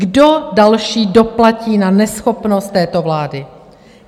Kdo další doplatí na neschopnost této vlády?